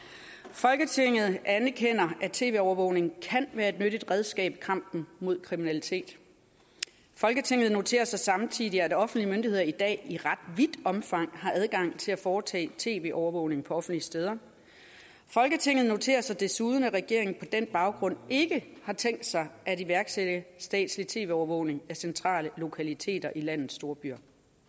folketinget anerkender at tv overvågning kan være et nyttigt redskab i kampen mod kriminalitet folketinget noterer sig samtidig at offentlige myndigheder i dag i ret vidt omfang har adgang til at foretage tv overvågning på offentlige steder folketinget noterer sig desuden at regeringen på den baggrund ikke har tænkt sig at iværksatte statslig tv overvågning af centrale lokaliteter i landets storbyer